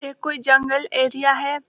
ये कोई जंगल एरिया हैं।